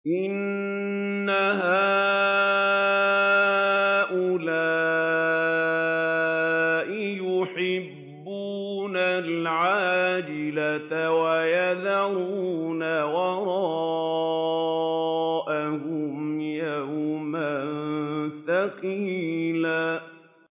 إِنَّ هَٰؤُلَاءِ يُحِبُّونَ الْعَاجِلَةَ وَيَذَرُونَ وَرَاءَهُمْ يَوْمًا ثَقِيلًا